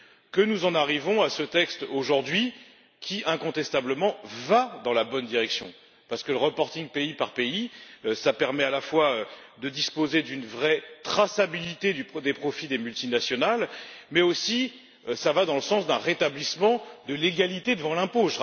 que nous en arrivons à ce texte aujourd'hui qui, incontestablement, va dans la bonne direction, parce que le pays par pays permet à la fois de disposer d'une vraie traçabilité des profits des multinationales et d'aller dans le sens d'un rétablissement de l'égalité devant l'impôt.